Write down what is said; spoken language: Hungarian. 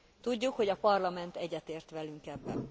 Tudjuk, hogy a Parlament egyetért velünk ebben.